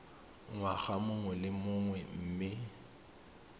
ngwaga mongwe le mongwe mme